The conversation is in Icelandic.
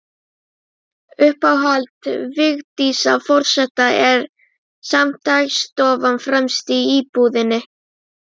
Uppáhald Vigdísar forseta er samt dagstofan, fremst í íbúðinni.